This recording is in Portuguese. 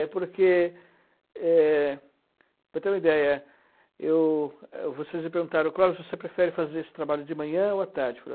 É, porque, é para ter uma ideia, eu, vocês me perguntaram, Clóvis, você prefere fazer esse trabalho de manhã ou à tarde?